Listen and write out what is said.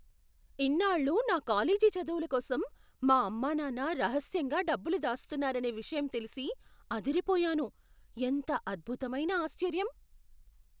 ఇన్నాళ్లూ నా కాలేజీ చదువుల కోసం మా అమ్మానాన్న రహస్యంగా డబ్బులు దాస్తున్నారనే విషయం తెలిసి అదిరిపోయాను. ఎంత అద్భుతమైన ఆశ్చర్యం!